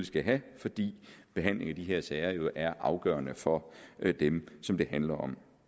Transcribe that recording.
skal have fordi behandlingen af de her sager jo er afgørende for dem som det handler om